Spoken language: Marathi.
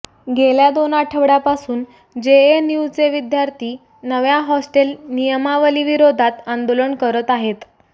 गेल्या दोन आठवड्यापासून जेएनयूचे विद्यार्थी नव्या हॉस्टेल नियमावलीविरोधात आंदोलन करत आहेत